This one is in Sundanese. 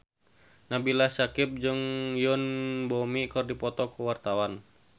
Nabila Syakieb jeung Yoon Bomi keur dipoto ku wartawan